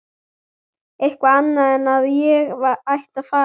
Eitthvað annað en að ég ætti að fara.